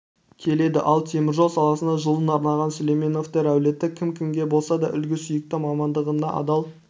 келеді ал теміржол саласына жылын арнаған сүлейменовтер әулеті кім-кімге болса да үлгі сүйікті мамандығына адал